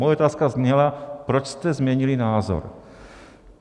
Moje otázka zněla, proč jste změnili názor.